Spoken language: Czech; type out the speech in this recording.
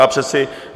Já přece...